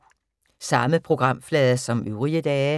Samme programflade som øvrige dage